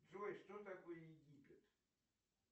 джой что такое египет